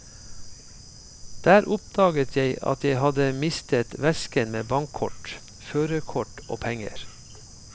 Der oppdaget jeg at jeg hadde mistet vesken med bankkort, førerkort og penger.